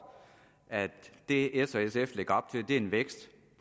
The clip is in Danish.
at det s og sf lægger op til er en vækst